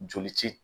Joli ti